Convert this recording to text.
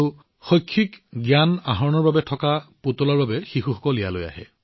ইয়াত উপলব্ধ থকা কমিক কিতাপ বা শৈক্ষিক পুতলা শিশুৱে সেইবোৰ খুব ভাল পায়